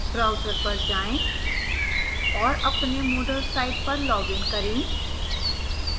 browser पर जाएं और अपने moodle site पर login करें